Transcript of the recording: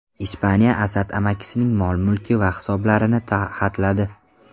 Ispaniya Asad amakisining mol-mulki va hisoblarini xatladi.